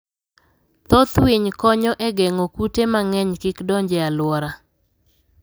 Thoth winy konyo e geng'o kute mang'eny kik donj e alwora.